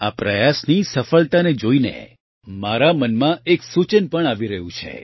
આ પ્રયાસની સફળતાને જોઇને મારા મનમાં એક સૂચન પણ આવી રહ્યું છે